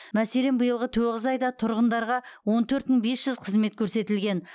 мәселен биылғы тоғыз айда тұрғындарға он төрт мың бес жүз қызмет көрсетілген